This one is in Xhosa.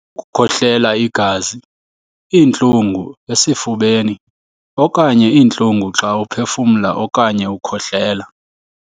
Ukukhohlela igazi, iintlungu esifubeni, okanye iintlungu xa uphefumla okanye ukhohlela.